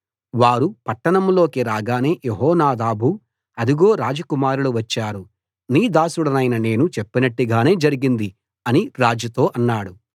వారు పట్టణంలోకి రాగానే యెహోనాదాబు అదిగో రాజకుమారులు వచ్చారు నీ దాసుడనైన నేను చెప్పినట్టుగానే జరిగింది అని రాజుతో అన్నాడు